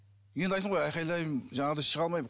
енді айттым ғой айқайлаймын жаңағыдай шыға алмаймын